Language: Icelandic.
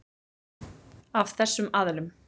Af þessum aðilum.